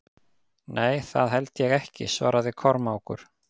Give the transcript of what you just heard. Nei, það held ég ekki, svaraði Kormákur.